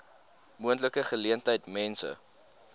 moontlike geleentheid mense